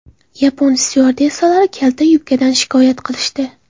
Yapon styuardessalari kalta yubkadan shikoyat qilishdi.